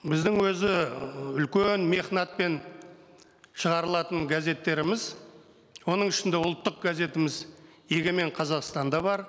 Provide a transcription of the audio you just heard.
біздің өзі ы үлкен мехнатпен шығарылатын газеттеріміз оның ішінде ұлттық газетіміз егемен қазақстан да бар